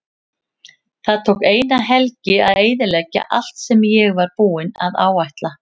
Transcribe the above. Það tók eina helgi að eyðileggja allt sem ég var búinn að áætla.